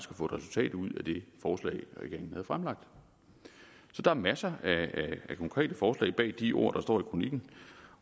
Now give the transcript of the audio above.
få et resultat ud af det forslag regeringen havde fremlagt så der er masser af konkrete forslag bag de ord der står i kronikken